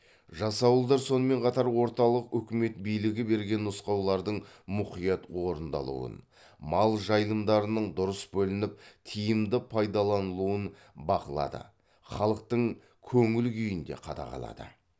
жасауылдар сонымен қатар орталық өкімет билігі берген нұсқаулардың мұқият орындалуын мал жайылымдарының дұрыс бөлініп тиімді пайдаланылуын бақылады халықтың көңіл күйін де қадағалады